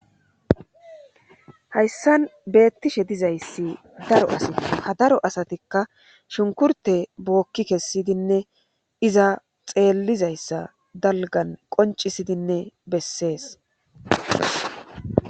hayssan beettishe dizayssi daro asat ha daro asatikka shunkurte bookki kessidinne iza xeellizayssa dalgan qoncisidinne bessees